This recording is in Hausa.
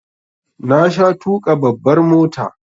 Na sha tuƙa babbar mota